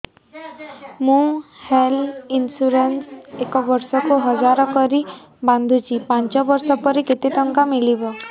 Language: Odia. ମୁ ହେଲ୍ଥ ଇନ୍ସୁରାନ୍ସ ଏକ ବର୍ଷକୁ ହଜାର କରି ବାନ୍ଧୁଛି ପାଞ୍ଚ ବର୍ଷ ପରେ କେତେ ଟଙ୍କା ମିଳିବ